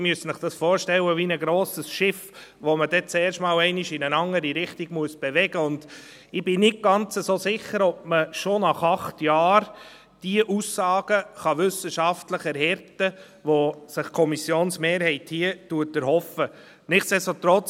Sie müssen sich das vorstellen wie ein grosses Schiff, das man zuerst einmal in eine andere Richtung bewegen muss, und ich bin nicht ganz so sicher, ob man die Aussagen, die sich die Kommissionsmehrheit hier erhofft, bereits nach acht Jahren wissenschaftlich erhärten kann.